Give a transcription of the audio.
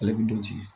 Ale bi don ci